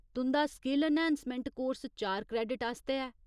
तुं'दा skill enhancement course चार credit आस्तै ऐ।